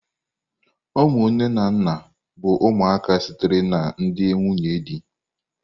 Ụmụ nne na nna bụ ụmụaka sitere na ndị nwunye di.